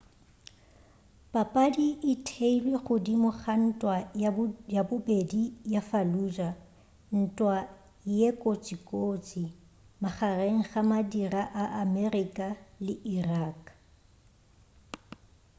papadi e theilwe godimo ga ntwa ya bobedi ya fallujah ntwa ye kotsikotsi magareng ga madira a amerika le irak